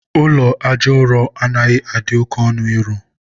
ụlọ aja ụrọ anaghị adị oke ọnụ ịrụ.